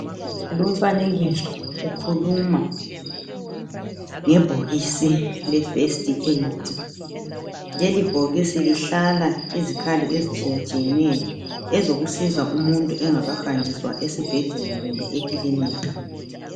Lumfanekiso ukhuluma ngebhokisi lefirst Aid. Leli bhokisi lihlala izikhali ezitshiyatshiyeneyo ezokusiza umuntu engakahanjiswa esibhedlela kumbe ekilinika.